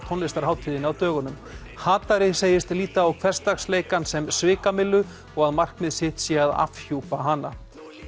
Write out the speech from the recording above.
tónlistarhátíðinni á dögunum hatari segist líta á hversdagsleikann sem svikamyllu og að markmið sitt sé að afhjúpa hana